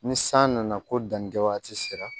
Ni san nana ko danni kɛ waati sera